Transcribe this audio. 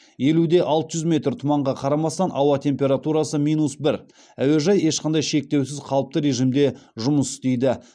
елу де алты жүз метр тұманға қарамастан ауа температурасы минус бір әуежай ешқандай шектеусіз қалыпты режимде жұмыс істейді